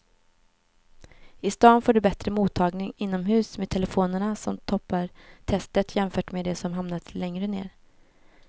I stan får du bättre mottagning inomhus med telefonerna som toppar testet jämfört med de som hamnat längre ner.